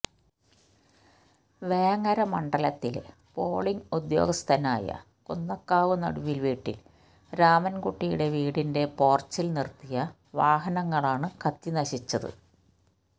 വേങ്ങര മണ്ഡലത്തിലെ പോളിംഗ് ഉദ്യോഗസ്ഥനായ കുന്നക്കാവ് നടുവില് വീട്ടില് രാമന്കുട്ടിയുടെ വീടിന്റെ പോര്ച്ചില് നിര്ത്തിയ വാഹനങ്ങളാണ് കത്തി നശിച്ചത്